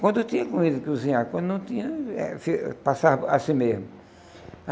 Quando tinha comida para cozinhar, quando não tinha, eh passava assim mesmo.